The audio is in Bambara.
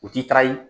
U ti taga ye